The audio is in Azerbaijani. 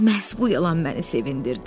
Məhz bu yalan məni sevindirdi.